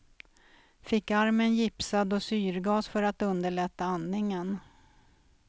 Fick armen gipsad och syrgas för att underlätta andningen.